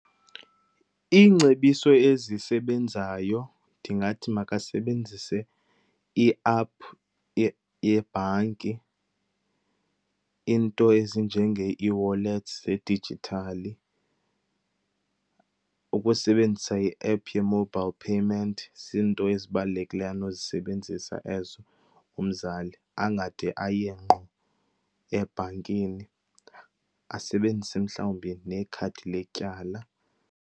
Iingcebiso ezisebenzayo ndingathi makasebenzise i-app yebhanki, iinto ezinjenge-ewallets zedijithali, ukusebenzisa i-app ye-mobile payment. Ziinto ezibalulekileyo anozisebenzisa ezo umzali angade aye ngqo ebhankini. Asebenzise mhlawumbi nekhadi letyala.